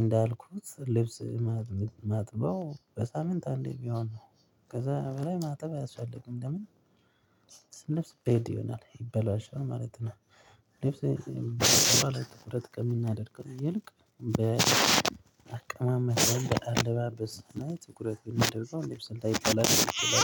እንዳልኩት ልብስ ማጥበው በሳምንት አንዴ ቢሆን ነው። ከዛ በላይ ማጥበው አያሳልግም ለምን? በይሆናል ይበላሻል ማለት ነው። ልብስ በይሆናል ትኩረት ከምናደርገው ይልቅ በአቀማመጥ በአልባልስ ትኩረት ቢንደብስ ወይም ልብስ ስልታ ይጠላል።